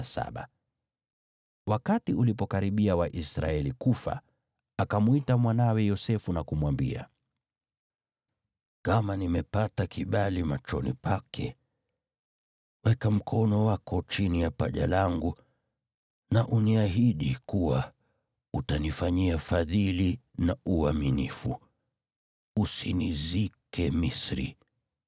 Wakati ulipokaribia wa Israeli kufa, akamwita mwanawe Yosefu na kumwambia, “Kama nimepata kibali machoni pake, weka mkono wako chini ya paja langu na uniahidi kuwa utanifanyia fadhili na uaminifu. Usinizike Misri,